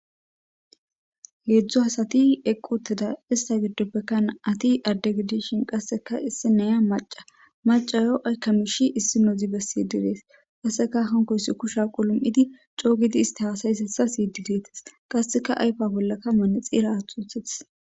Hezhu asati eqi uttida ista gidopeka na'ati adde gidishin qase issiniya maca. Macayo hikinozi ayko miishi besishe dees. Qaseka issinozi kusha qalam'idi coo gidi isti hasayozaysa siyidi dees. Qaseka ayfa bollaka manxira aathi wothides.